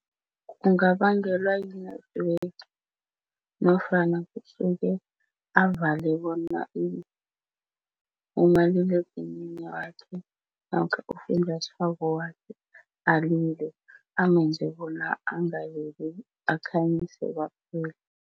Kungabangelwa yi-network nofana kusuke avale bona umaliledinini wakhe namkha ufunjathwako wakhe alile, angenzi bona angalili, akhanyise kwaphela.